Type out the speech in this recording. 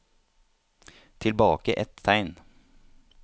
Tilbake ett tegn